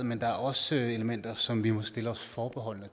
men der er også elementer som vi stiller os forbeholdne